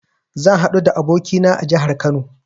Zan haɗu da abokina a jahar Kano